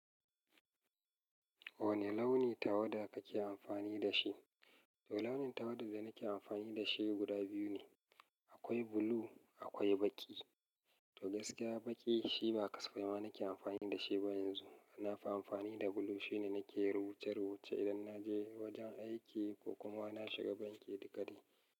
Wane launi tawada kake amfani da shi? To launin tawada da nake amfani da shi guda biyu ne. Akwai blue akwai baƙi. To gaskiya baƙi shi ba kasafema nake amfani da shi ba yanzu. Nafi amfani da blue shine nake rubuce rubuce idan naje wajen aiki ko kuma na shiga banki da ƙari.